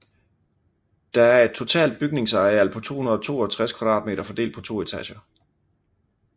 Der er et totalt bygningsareal på 262 m2 fordelt på to etager